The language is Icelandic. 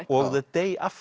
og